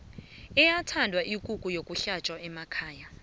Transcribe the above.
iyathanda ikukhu yokuhlatjwa ekhaya